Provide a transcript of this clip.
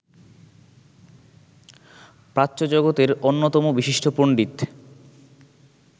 প্রাচ্যজগতের অন্যতম বিশিষ্ট পণ্ডিত